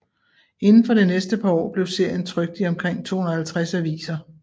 Inden for det næste par år blev serien trykt i omkring 250 aviser